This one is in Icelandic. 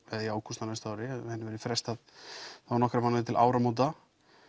eða í ágúst á næsta ári að henni verði frestað um nokkra mánuði til áramóta